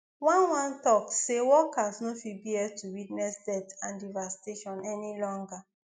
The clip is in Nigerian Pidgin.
one one tok say workers no fit bear to witness deaths and devastation any longer